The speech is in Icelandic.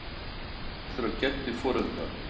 Nú horfa allir á Geddu í forundran.